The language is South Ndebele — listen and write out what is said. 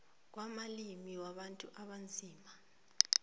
kwamalimi wabantu abanzima